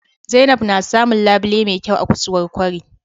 zainab na samun labile me kyau a ksuwar kwari